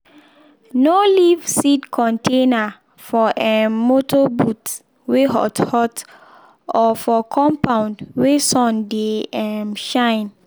no leave seed container for um motor boot weh hot hot or for compound wey sun dey um shine.